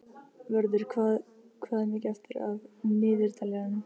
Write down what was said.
Vörður, hvað er mikið eftir af niðurteljaranum?